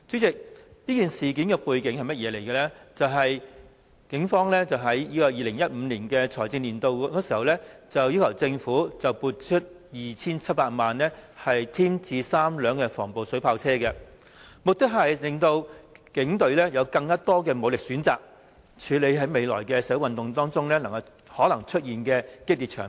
警方於 2015-2016 財政年度，要求政府撥出 2,700 萬元添置3輛防暴水炮車，目的是增強警隊的武力，以處理未來社會運動中可能出現的激烈場面。